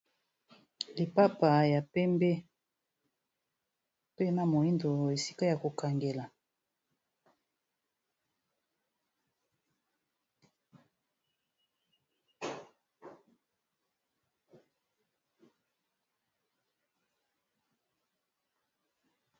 Lipapa ya pembe mpe na moyindo esika ya ko kangela.